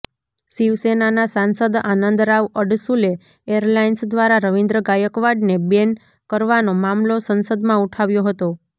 શિવસેનાના સાંસદ આનંદરાવ અડસૂલે એરલાઈન્સ દ્વારા રવિન્દ્ર ગાયકવાડને બેન કરવાનો મામલો સંસદમાં ઉઠાવ્યો હતો